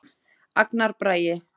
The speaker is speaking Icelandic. Agnar Bragi.